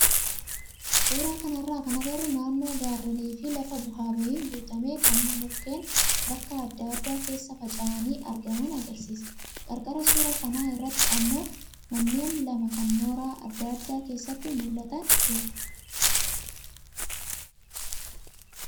Suuraa kanarraa kan agarru naannoo gaarreenii fi lafa bu'aa bahiin guutame kan mukkeen bakka adda addaa keessa faca'anii argaman agarsiisa. Qarqara suuraa kanaa irratti immoo manneen lama kan mooraa adda addaa keessaa mul'atan jiru.